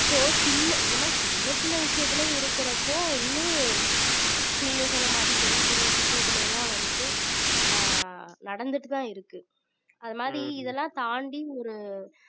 so சின்ன இந்த மாதிரி சின்னச் சின்ன விஷயத்துல இருக்குறப்போ இன்னும் நீங்க சொன்ன மாதிரி பெரிய பெரிய விஷயத்துல எல்லாம் வந்துட்டு ஆஹ் நடந்துட்டுதான் இருக்கு அது மாதிரி இதெல்லாம் தாண்டி ஒரு